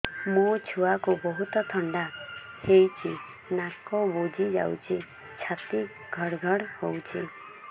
ମୋ ଛୁଆକୁ ବହୁତ ଥଣ୍ଡା ହେଇଚି ନାକ ବୁଜି ଯାଉଛି ଛାତି ଘଡ ଘଡ ହଉଚି